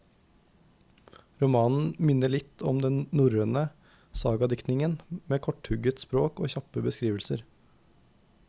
Romanen minner litt om den norrøne sagadiktningen, med korthugget språk og kjappe beskrivelser.